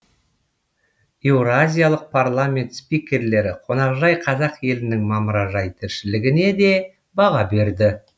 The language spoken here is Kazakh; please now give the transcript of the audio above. еуразиялық парламент спикерлері қонақжай қазақ елінің мамыражай тіршілігіне де баға берді